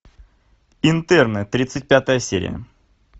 интерны тридцать пятая серия